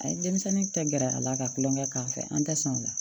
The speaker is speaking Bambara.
A ye denmisɛnnin tɛ gɛrɛ a la ka tulonkɛ k'an fɛ an tɛ sɔn o la